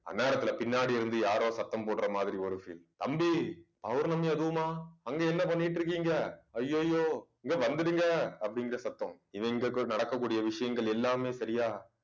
அந்நேரத்துல பின்னாடி இருந்து யாரோ சத்தம் போடுற மாதிரி ஒரு feel தம்பி பௌர்ணமி அதுவுமா அங்க என்ன பண்ணிட்டு இருக்கீங்க ஐயையோ இங்க வந்துடுங்க அப்படிங்கிற சத்தம் இவங்களுக்குள் நடக்கக்கூடிய விஷயங்கள் எல்லாமே சரியா